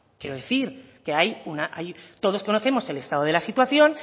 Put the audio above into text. quiero decir que todos conocemos el estado de la situación